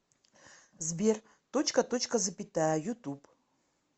сбер точка точка запятая ютуб